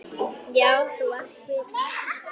Já, þú varst skvísa.